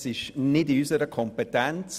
Es liegt nicht in unserer Kompetenz.